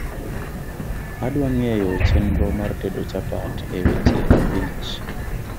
adwa ngeyo chenro mar tedo chapat e weche abich